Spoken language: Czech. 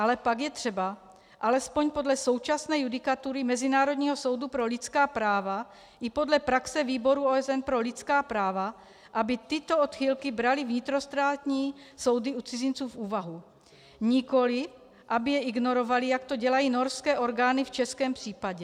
Ale pak je třeba, alespoň podle současné judikatury Mezinárodního soudu pro lidská práva i podle praxe Výboru OSN pro lidská práva, aby tyto odchylky braly vnitrostátní soudy u cizinců v úvahu, nikoliv aby je ignorovaly, jak to dělají norské orgány v českém případě.